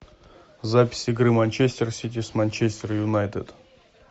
запись игры манчестер сити с манчестер юнайтед